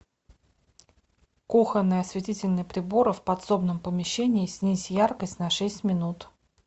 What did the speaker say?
кухонные осветительные приборы в подсобном помещении снизь яркость на шесть минут